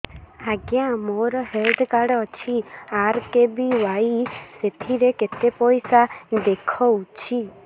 ଆଜ୍ଞା ମୋର health card ଅଛି ଆର୍.କେ.ବି.ୱାଇ ସେଥିରେ କେତେ ପଇସା ଦେଖଉଛି